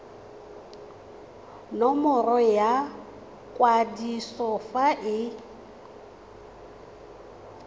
nomoro ya kwadiso fa e